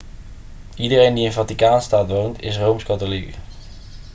iedereen die in vaticaanstad woont is rooms-katholiek